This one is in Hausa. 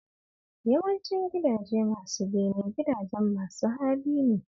Yawancin gidaje masu bene gidajen masu hali ne